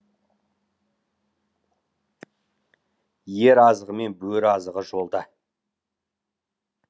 ер азығы мен бөрі азығы жолда